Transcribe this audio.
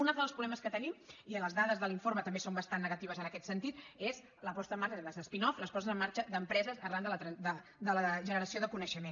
un altre dels problemes que tenim i les dades de l’informe també són bastant negatives en aquest sentit és la posada en marxa és a dir les spin offen marxa d’empreses arran de la generació de coneixement